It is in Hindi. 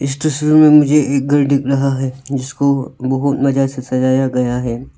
इस तस्वीर में मुझे एक घर दिख रहा है जिसको बहुत मजा से सजाया गया है।